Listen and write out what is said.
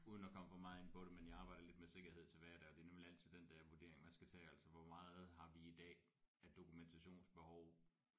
Uden at komme for meget ind på det men jeg arbejder lidt med sikkerhed til hverdag og det er nemlig altid den der vurdering man skal tage altså hvor meget har vi i dag af dokumentationsbehov